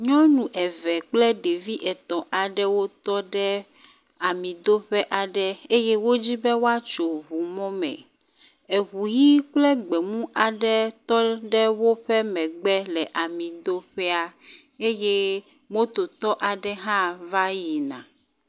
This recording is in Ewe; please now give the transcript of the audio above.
Nyɔnu eve kple ɖevi etɔ̃ aɖewo tɔ ɖe amidoƒe aɖe eye wodzi be woatso ŋumɔme. Eŋi ʋi kple gbemu aɖe tɔ ɖe woƒe megbe le amidoƒea. Eye mototɔ aɖe hã va yina.